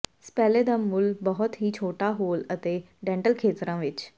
ਸਪੈਲੇ ਦਾ ਮੁੱਲ ਬਹੁਤ ਹੀ ਛੋਟਾ ਹੋਲ ਅਤੇ ਡੈਂਟਲ ਖੇਤਰਾਂ ਵਿੱਚ ਹੈ